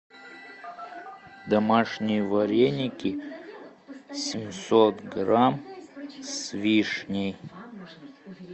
домашние вареники семьсот грамм с вишней